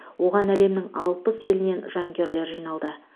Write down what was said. оған әлемнің алпыс елінен жанкүйерлер жиналды